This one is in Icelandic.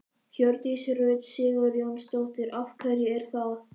Hjördís Rut Sigurjónsdóttir: Af hverju er það?